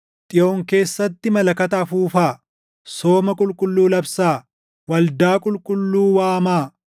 Xiyoon keessatti malakata afuufaa; sooma qulqulluu labsaa; waldaa qulqulluu waamaa.